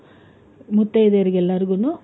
ಮುತ್ತೈದೆಯರಿಗೆಲ್ಲರಿಗುನು